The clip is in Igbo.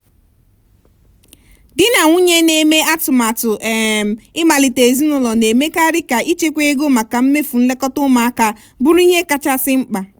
di na nwunye ndị na-eme atụmatụ um ịmalite ezinụlọ na-emekarị ka ichekwa ego maka mmefu nlekọta ụmụaka bụrụ ihe kachasị mkpa.